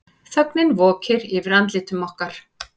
Þögnin vokir yfir andlitum okkar.